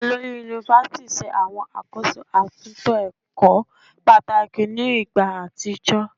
Olori Yunifásítì ṣe àkóso àwọn àtúntò ẹ̀kọ́ pàtàkì ní ìgbà àtijọ́